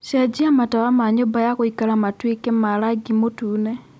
cengia matawa ma nyũmba ya gũikara matuĩ ke na rangi mũtune